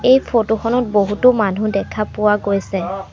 এই ফটোখনত বহুতো মানুহ দেখা পোৱা গৈছে।